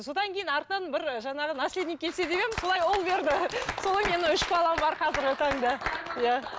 содан кейін артынан бір ы жаңағы наследник келсе деп едім солай ұл берді солай менің үш балам бар қазіргі таңда иә